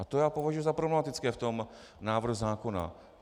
A to já považuji za problematické v tom návrhu zákona.